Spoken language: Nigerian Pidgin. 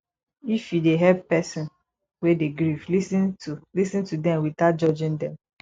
if you dey help person wey dey grief lis ten to lis ten to them without judging them